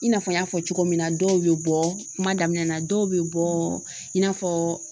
I n'a fɔ n y'a fɔ cogo min na dɔw be bɔ kuma daminɛna dɔw be bɔ in n'a fɔ